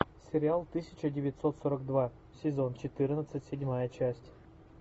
сериал тысяча девятьсот сорок два сезон четырнадцать седьмая часть